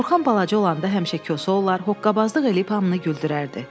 Orxan balaca olanda həmişə kosa olar, hoqqabazlıq eləyib hamını güldürərdi.